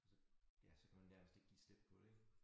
Så ja så kan nærmest ikke give slip på det ik